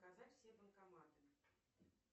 показать все банкоматы